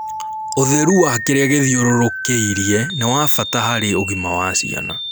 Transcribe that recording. ũtheru wa kirĩa githiururukiirie niwabata harĩ ũgima wa ciana